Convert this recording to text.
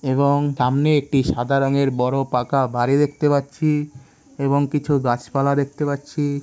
এবং সামনে একটি সাদা রঙের বড় পাকা বাড়ি দেখতে পাচ্ছি। এবং কিছু গাছ পালা দেখতে পাচ্ছি।